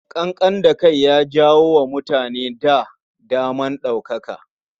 Ƙanƙan da kai ya jawo wa mutane da dama ɗaukaka.